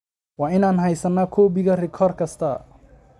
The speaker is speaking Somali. Waa inaan heysanaa koobiga rikoor kasta.